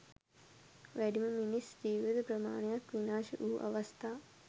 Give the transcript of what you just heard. වැඩිම මිනිස් ජීවිත ප්‍රමාණයක් විනාශ වූ අවස්ථා